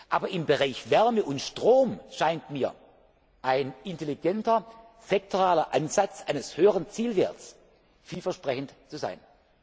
Aber im Bereich Wärme und Strom scheint mir ein intelligenter sektoraler Ansatz eines höheren Zielwerts vielversprechend zu